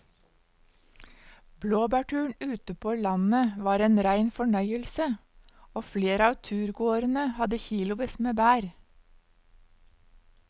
Blåbærturen ute på landet var en rein fornøyelse og flere av turgåerene hadde kilosvis med bær.